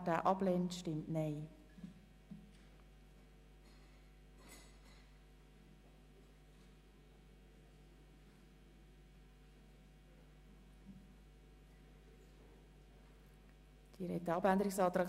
Im Voranschlag 2018 ist der Saldo der Produktgruppe 5.7.7 «Angebote für Menschen mit einem Pflege-, Betreuungs-, besonderen Bildungsbedarf» um CHF 6,4 Millionen zu erhöhen.